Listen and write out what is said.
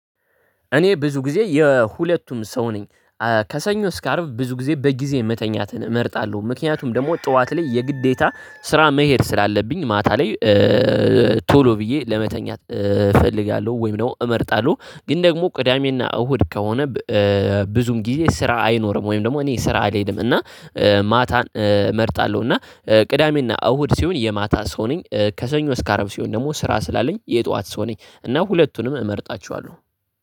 እኔ ብዙ ጊዜ የሁለቱም ሰው ነኝ። ከሰኞ እስከ አርብ ብዙ ጊዜ በጊዜ መተኛትን እመርጣለሁ ምክንያቱም ደግሞ ጠዋት ላይ የግዴታ ስራ መሄድ ስላለብኝ ማታ ላይ። ቶሎ ብዬ ለመተኛት እፈልጋለሁ ወይም ደግሞ እመርጣለሁ ግን ደግሞ ቅዳሜና እሁድ ከሆነ። ብዙም ጊዜ ስራ አይኖርም ወይም ደግሞ እኔ ስራ አልሄድም እና ማታን እመርጣለሁ። እና ቅዳሜና እሁድ ሲሆን የማታ ሰው ነኝ። ከሰኞ እስከ አረብ ሲሆን ደግሞ ስራ ስላለኝ የጧት ሰው ነኝ። እና ሁለቱንም እመርጣቸዋለሁ